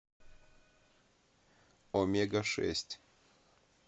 омега шесть